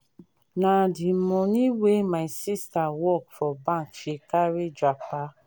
na di moni wey my sista work for bank she carry japa.